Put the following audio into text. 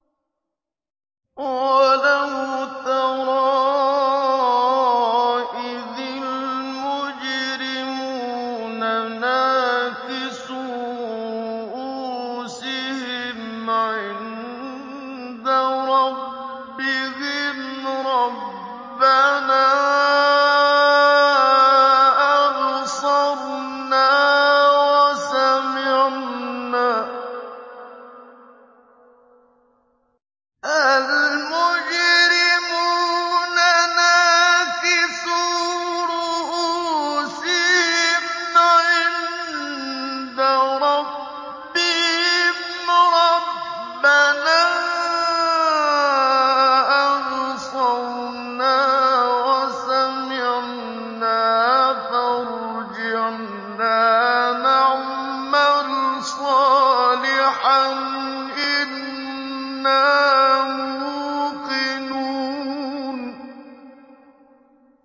وَلَوْ تَرَىٰ إِذِ الْمُجْرِمُونَ نَاكِسُو رُءُوسِهِمْ عِندَ رَبِّهِمْ رَبَّنَا أَبْصَرْنَا وَسَمِعْنَا فَارْجِعْنَا نَعْمَلْ صَالِحًا إِنَّا مُوقِنُونَ